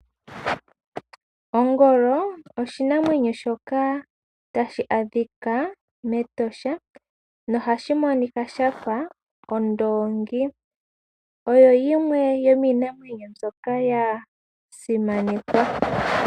Ongolo oshinamwenyo shoka hashi adhika mEtosha nohashi monika shafa ondoongi, oyo yimwe yomiinamwenyo ndyoka yasimanekwa.